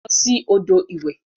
Losi odo iwe.